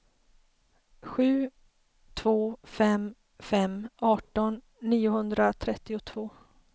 sju två fem fem arton niohundratrettiotvå